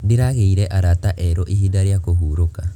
Ndĩragĩire arata erũ ihinda rĩa kũhurũka.